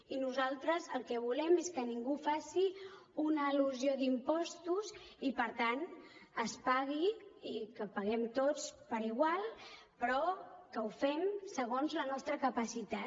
i nosaltres el que volem és que ningú faci una elusió d’impostos i per tant es pagui i que paguem tots per igual però que ho fem segons la nostra capacitat